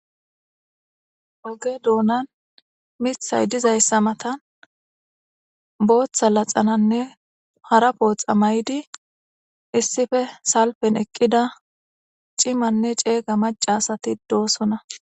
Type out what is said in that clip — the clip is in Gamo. oge doonan mithay dizayssa matan booththa laxananne hara pooxa maydi issife salpen eqqida cimanne ceega maca asati doosona